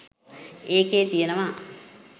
ඒකේ කියනවා